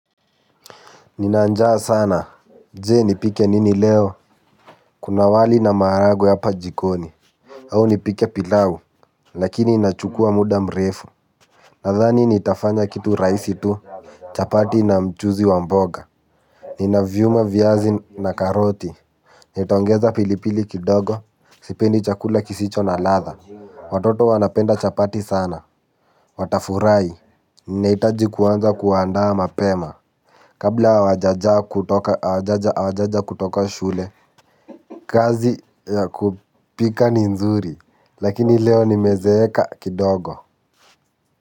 Ninanjaa sana. Je nipike nini leo. Kuna wali na maharagwe hapa jikoni. Au nipike pilau. Lakini inachukua muda mrefu. Nadhani nitafanya kitu rahisi tu. Chapati na mchuzi wa mboga. Ninavyuma viazi na karoti. Nitaongeza pilipili kidogo. Sipendi chakula kisicho na ladha. Watoto wanapenda chapati sana. Watafurahi. Ninaitaji kuanza kuandaa mapema. Kabla hawajaja kutoka shule kazi ya kupika ni nzuri. Lakini leo nimezeeka kidogo.